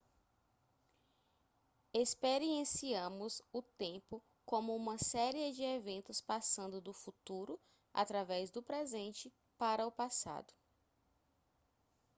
experienciamos o tempo como uma série de eventos passando do futuro através do presente para o passado